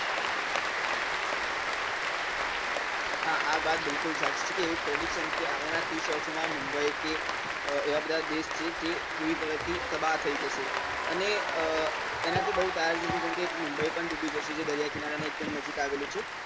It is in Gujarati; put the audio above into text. હા આ વાત બિલકુલ સાચી છે કે એવી prediction છે કે આગળનાં તીસ વર્ષોમાં મુંબઈ કે એવાં બધાં દેશ છે તે પૂરી તરહથી તબાહ થઇ જશે અને એનાથી બઉ એક મુંબઈ પણ ડૂબી જશે જે દરિયા કિનારાના એક દમ નજીક આવેલું છે.